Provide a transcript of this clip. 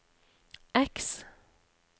X